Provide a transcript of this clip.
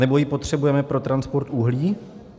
Anebo ji potřebujeme pro transport uhlí?